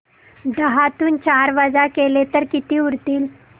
दहातून चार वजा केले तर किती उरतील